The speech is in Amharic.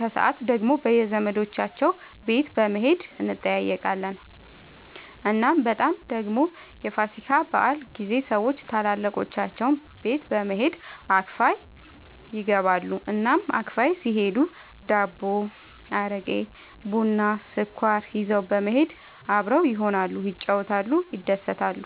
ከሰዓት ደግሞ በየዘመዶቻቸው ቤት በመሄድ እንጠያየቃለን። እናም በጣም ደግሞ የፋሲካ በዓል ጊዜ ሰዎች ታላላቆቻቸው ቤት በመሄድ አክፋይ ይገባሉ። እናም አክፋይ ሲሄዱ ዳቦ፣ አረቄ፣ ቡና፣ ስኳር ይዘው በመሄድ አብረው ይሆናሉ፣ ይጫወታሉ፣ ይደሰታሉ።